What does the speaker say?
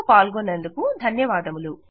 ఇందులో పాల్గొన్నందుకు ధన్యవాదములు